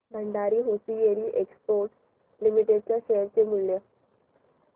Bhandari hosiery exports limited च्या share चे मूल्य